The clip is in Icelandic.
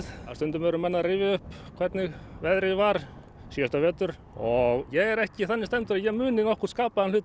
stundum eru menn að rifja upp hvernig veðrið var síðasta vetur og ég er ekki þannig stemmdur að ég muni nokkurn skapaðan hlut